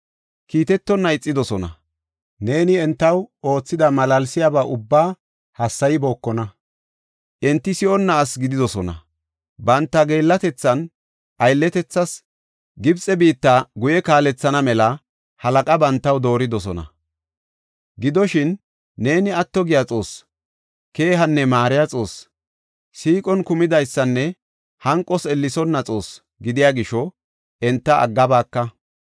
Kiitetonna ixidosona; neeni entaw oothida malaalsiyaba ubbaa hassaybookona. Enti si7onna asi gididosona; banta geellatethan aylletethas Gibxe biitta guye kaalethana mela halaqa bantaw dooridosona. Gidoshin, neeni atto giya Xoossi, keehanne maariya Xoossi; siiqon kumidaysanne hanqos ellesonna Xoossi gidiya gisho enta aggabaaka.